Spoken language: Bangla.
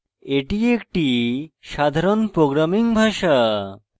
এটি একটি সাধারণ programming ভাষা